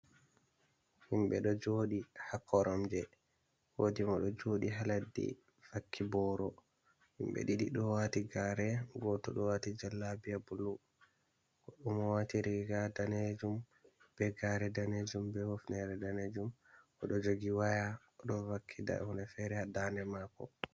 Himɓe ɗo jooɗi ha koromje, woodi mo ɗo jooɗi ha leddi vakki booro, himɓe ɗidi ɗo waati gare gooto ɗo waati jallabiya bulu, godɗo mo ɗo waati riga danejum be gare danejum be hoftere danejum oɗo joogi waya oɗo vakki nda hunde feere ha dande mako.